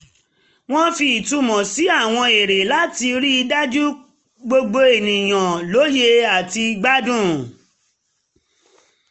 wọ́n fi ìtumọ̀ sí àwọn eré láti rí um dájú pé gbogbo ènìyàn um lóye àti gbádùn